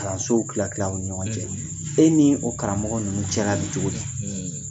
Kalansow kila kila aw ni ɲɔgɔn cɛ e ni o karamɔgɔ ninnu cɛla bɛ cogo di?